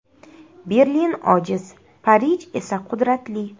Berlin ojiz, Parij esa qudratli.